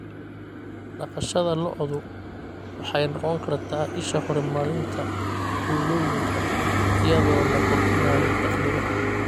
Dhaqashada lo'du waxay noqon kartaa isha horumarinta tuulooyinka iyadoo la kordhinayo dakhliga.